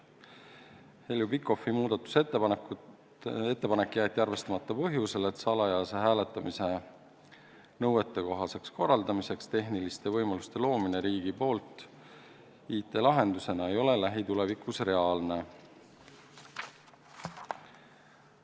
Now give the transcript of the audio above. Heljo Pikhofi ettepanek jäeti arvestamata põhjusel, et nõuetekohaseks salajaseks hääletamiseks tehniliste võimaluste loomine riigi IT-lahendusena ei ole lähitulevikus reaalne.